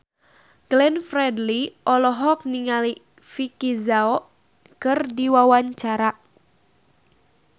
Glenn Fredly olohok ningali Vicki Zao keur diwawancara